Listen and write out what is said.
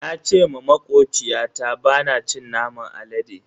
Na ce ma makociyata bana cin naman alade.